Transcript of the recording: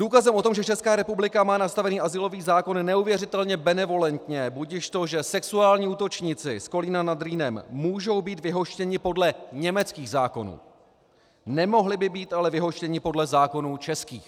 Důkazem o tom, že Česká republika má nastavený azylový zákon neuvěřitelně benevolentně, budiž to, že sexuální útočníci z Kolína nad Rýnem můžou být vyhoštěni podle německých zákonů, nemohli by být ale vyhoštěni podle zákonů českých.